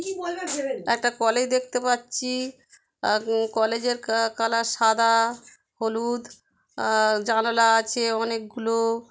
একটা কলেজ দেখতে পাচ্ছি। আ-উ কলেজের কা-কালার সাদা হলুদ | অ্যা জানালা আছে অনেকগুলো।